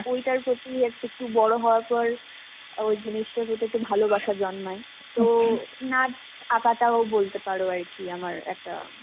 ঐটার প্রতি এক~ একটু বড় হবার পর, ওই জিনিসটার প্রতি একটু ভালোবাসা জন্মায়. তো নাচ আঁকাটাও বলতে পারো আরকি আমার একটা